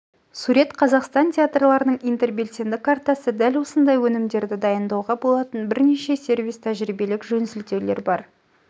сурет қазақстан театрларының интербелсенді картасы дәл осындай өнімдерді дайындауға болатын бірнеше сервис тәжірибелік жөнсілтеулер бар